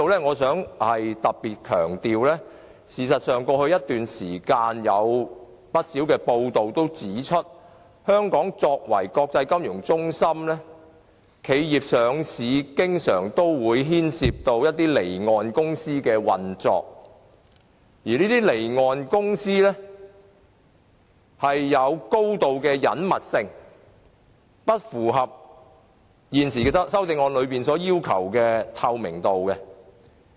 我想在此強調，過去一段時間有不少報道指，香港作為國際金融中心，公司上市經常牽涉離岸公司，而離岸公司有高度的隱密性，與修正案中所強調的透明度有落差。